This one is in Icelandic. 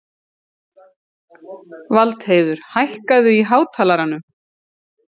Valdheiður, hækkaðu í hátalaranum.